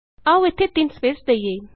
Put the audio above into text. ਆਉ ਇਥੇ ਤਿੰਨ ਸਪੈਸ ਦਈਏ